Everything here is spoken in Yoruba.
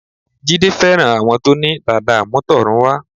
Jídé fẹ́ràn àwọn tó ní dàda àmútọ̀runwá